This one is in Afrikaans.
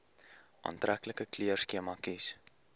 aantreklike kleurskema kies